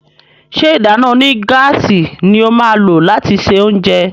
ṣe ìdáná onígáàsì ní o má lo lati ṣe oúnjẹ?